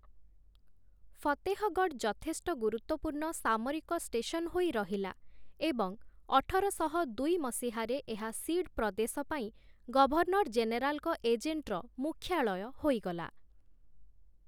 ଫତେହଗଡ଼ ଯଥେଷ୍ଟ ଗୁରୁତ୍ୱପୂର୍ଣ୍ଣ ସାମରିକ ଷ୍ଟେସନ ହୋଇ ରହିଲା ଏବଂ ଅଠରଶହ ଦୁଇ ମସିହାରେ ଏହା ସିଡ୍ ପ୍ରଦେଶ ପାଇଁ ଗଭର୍ଣ୍ଣର ଜେନେରାଲଙ୍କ ଏଜେଣ୍ଟର ମୁଖ୍ୟାଳୟ ହୋଇଗଲା ।